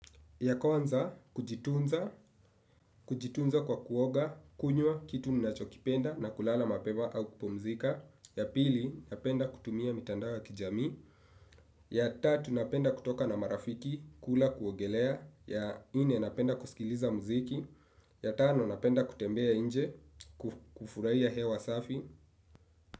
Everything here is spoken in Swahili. Ya kwanza, kujitunza kwa kuoga, kunywa, kitu ninachokipenda na kulala mapema au kupumzika. Ya pili, napenda kutumia mitandao ya kijamii. Ya tatu, napenda kutoka na marafiki, kula kuogelea. Ya ine, napenda kusikiliza muziki. Ya tano, napenda kutembea inje, kufurahia hewa safi.